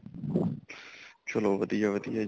ਚਲੋ ਵਧੀਆ ਵਧੀਆ ਜੀ